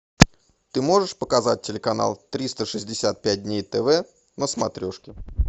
ты можешь показать телеканал триста шестьдесят пять дней тв на смотрешке